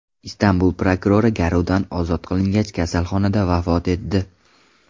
Istanbul prokurori garovdan ozod qilingach, kasalxonada vafot etdi.